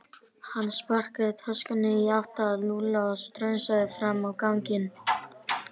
Hann sparkaði töskunni í átt að Lúlla og strunsaði fram á ganginn.